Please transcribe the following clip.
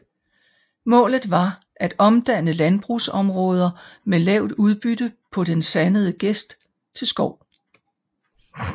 Målet var at omdanne landbrugsområder med lavt udbytte på den sandede gest til skov